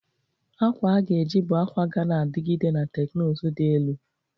Akwa a ga-eji bụ akwa ga na-adigide na teknụzụ dị elu.